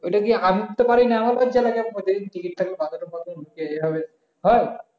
ঐটা কি আমি তো পারি না আমার লজ্জা লাগে